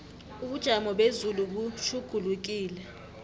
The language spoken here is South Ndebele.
ubujamo bezulu butjhugulukile